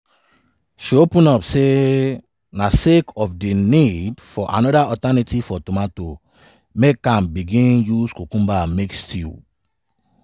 she open up say na sake of di need for anoda alternative for tomato make am begin use cucumber to make stew.